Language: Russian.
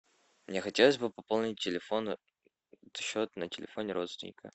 мне хотелось бы пополнить телефон счет на телефоне родственника